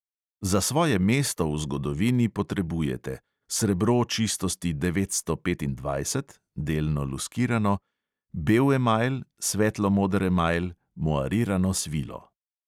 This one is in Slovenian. Za svoje mesto v zgodovini potrebujete: srebro čistosti devetsto petindvajset (delno luskirano), bel emajl, svetlo moder emajl, moarirano svilo.